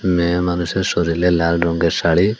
মেয়ে মানুষের শরীলে লাল রঙ্গের শাড়ি।